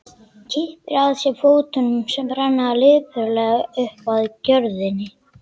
Kippir að sér fótunum sem renna lipurlega upp að gjörðinni.